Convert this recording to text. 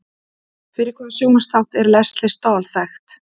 Fyrir hvaða sjónvarpsþátt er Lesley Stahl þekkt?